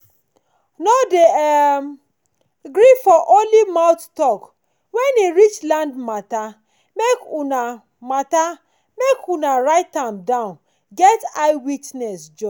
nor dey um gree for only mouth talk wen e reach land mata make unah mata make unah write am down get eye witness join